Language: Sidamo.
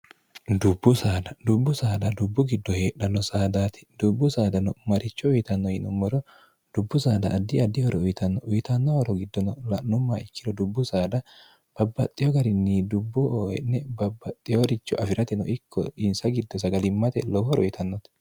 dubbu ddubbu saada dubbu giddo heedhanno saadaati dubbu saadano maricho uyitanno yinommoro dubbu saada addi adihoro uyitanno uyitanno horo giddono la'nummaa ikkilo dubbu saada babbaxxiyo garinni dubbu oe'ne babbaxxeyoricho afi'ratino ikko insa giddo sagalimmate lowo horo uyitannote